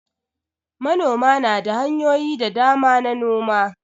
Manoma na da hanyoyi da dama na noma.